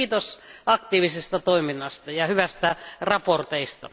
Mutta kiitos aktiivisesta toiminnasta ja hyvistä raporteista!